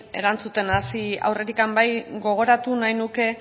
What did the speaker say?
erantzuten hasi aurretik bai gogoratu nahi nuke